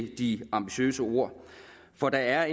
de ambitiøse ord for der er